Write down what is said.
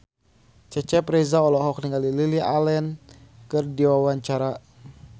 Cecep Reza olohok ningali Lily Allen keur diwawancara